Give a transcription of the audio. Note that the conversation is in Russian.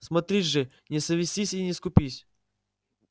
смотри же не совестись и не скупись